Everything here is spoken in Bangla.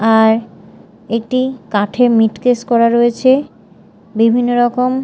আর একটি কাঠের মিট কেস করা রয়েছে বিভিন্ন রকম--